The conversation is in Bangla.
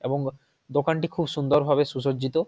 এবং দোকানটি খুব সুন্দর ভাবে সুসর্জিত।